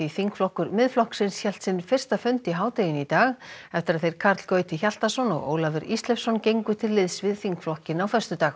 þingflokkur Miðflokksins hélt sinn fyrsta fund í hádeginu í dag eftir að þeir Karl Gauti Hjaltason og Ólafur Ísleifsson gengu til liðs við þingflokkinn á föstudag